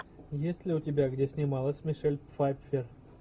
есть ли у тебя где снималась мишель пфайффер